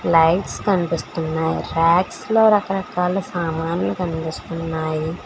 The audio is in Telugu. లైట్స్ కనిపిస్తున్నాయి రాక్స్ లో రకరకాల సామాన్లు కనిపిస్తున్నాయి.